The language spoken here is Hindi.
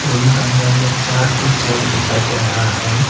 रूम के अंदर में चार ठो चेयर दिखाई दे रहा है।